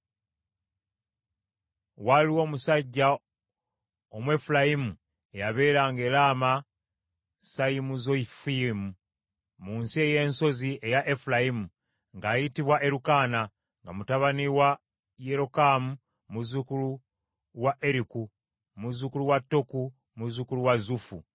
Waaliwo omusajja Omwefulayimu eyabeeranga e Lamasayimuzofimu, mu nsi ey’ensozi eya Efulayimu, ng’ayitibwa Erukaana, nga mutabani wa Yerokamu, muzzukulu wa Eriku, muzzukulu wa Toku, muzzukulu wa Zufu.